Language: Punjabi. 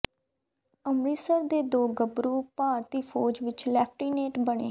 ਅੰਮ੍ਰਿਤਸਰ ਦੇ ਦੋ ਗੱਭਰੂ ਭਾਰਤੀ ਫੌਜ ਵਿੱਚ ਲੈਫਟੀਨੈਂਟ ਬਣੇ